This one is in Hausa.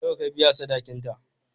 Nawa ka biya sadakinta?